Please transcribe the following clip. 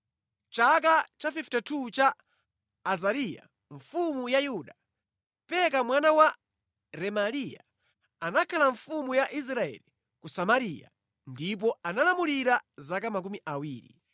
Mʼchaka cha 52 cha Azariya mfumu ya Yuda, Peka mwana wa Remaliya anakhala mfumu ya Israeli ku Samariya ndipo analamulira zaka makumi awiri.